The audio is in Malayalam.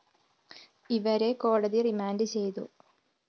ഇവരെ കോടതി റിമാൻഡ്‌ ചെയ്തു